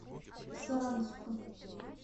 саранску